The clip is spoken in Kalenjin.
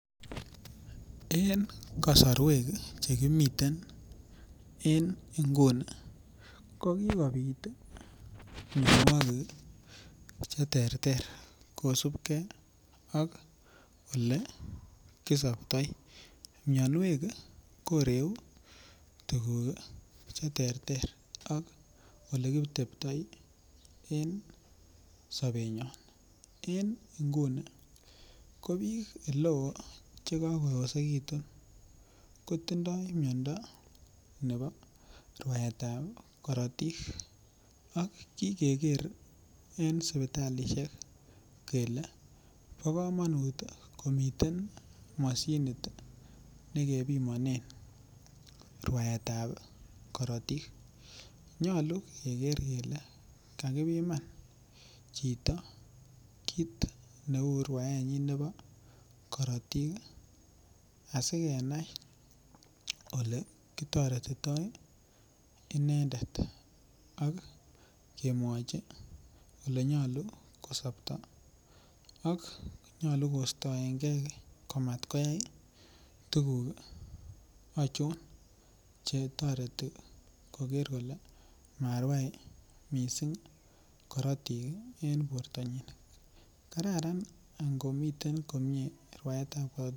En kasarwek Che kimiten en nguni ko kobit mianwogik Che terter kosubge ak Ole kisoptoi mianwek ko ireu tuguk Che terter ak Ole kiteptoi en sobenyon en nguni bik oleo Che kagooosekitun ko tindoi miando nebo rwaetab korotik ak kiger en sipitalisiek kele bo komonut komiten mashinit nekebimonen rwaetab korotik nyolu keger kele kakibiman chito kit neu rwaenyin nebo korotik asi kenai Ole kitoretitoi inendet ak kemwachi Ole nyolu ko sopto ak kostoenge komat koyai tuguk achon Che toreti koger kole marwai mising korotik en bortanyin kararan olon miten komie rwaetab korotik